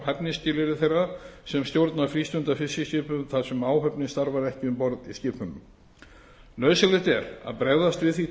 hæfnisskilyrði þeirra sem stjórna frístundafiskiskipum þar sem áhöfnin starfar ekki um borð í skipunum nauðsynlegt er að bregðast við því